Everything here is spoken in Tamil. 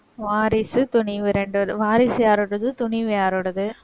வாரிசு துணிவு வாரிசு யாரோடது, துணிவு யாரோடது